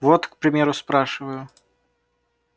вот к примеру спрашиваю